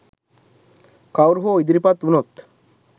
කවුරු හෝ ඉදිරිපත් වුනොත්